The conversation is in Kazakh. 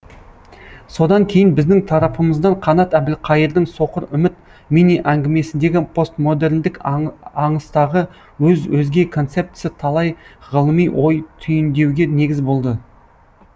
содан кейін біздің тарапымыздан қанат әбілқайырдың соқыр үміт мини әңгімесіндегі постмодерндік аңыстағы өз өзге концептісі талай ғылыми ой түйіндеуге негіз болды